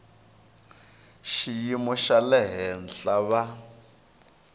xiyimo xa le henhla va